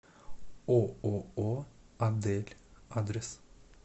ооо адель адрес